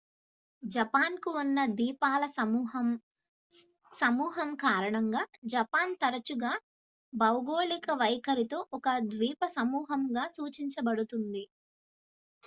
"""Japan కు ఉన్న ద్వీపాల సమూహం/సమూహం కారణంగా జపాన్ తరచుగా భౌగోళిక వైఖరితో ఒక """ద్వీపసమూహం""""గా సూచించబడుతుంది""